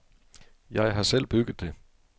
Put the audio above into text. Jeg har selv bygget det.